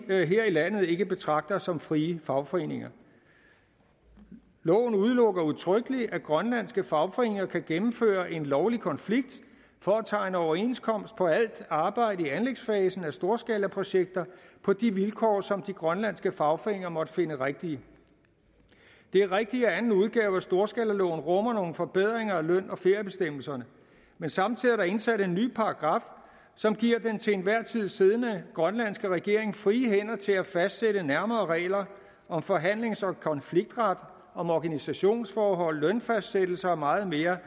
her i landet ikke betragter som frie fagforeninger loven udelukker udtrykkelig at de grønlandske fagforeninger kan gennemføre en lovlig konflikt for at tegne overenskomst på alt arbejde i anlægsfasen af storskalaprojekter på de vilkår som de grønlandske fagforeninger måtte finde rigtige det er rigtigt at anden udgave af storskalaloven rummer nogle forbedringer af løn og feriebestemmelserne men samtidig er der indsat en ny paragraf som giver den til enhver tid siddende grønlandske regering frie hænder til at fastsætte nærmere regler om forhandlings og konfliktret om organisationsforhold lønfastsættelse og meget mere